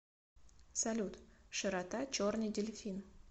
салют широта черный дельфин